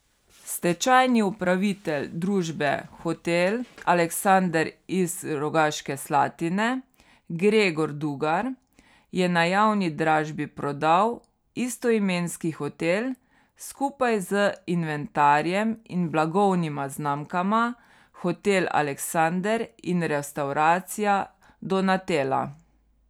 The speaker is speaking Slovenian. Stečajni upravitelj družbe Hotel Aleksander iz Rogaške Slatine Gregor Dugar je na javni dražbi prodal istoimenski hotel skupaj z inventarjem in blagovnima znamkama Hotel Aleksander in Restavracija Donatela.